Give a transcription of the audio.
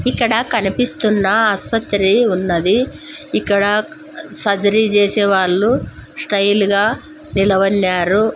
ఇక్కడ కనిపిస్తున్న ఆస్పత్రి ఉన్నది ఇక్కడ సర్జరీ చేసే వాళ్ళు స్టైల్ గా గా నిలవెనరు.